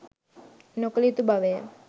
නොකළ යුතු බවය.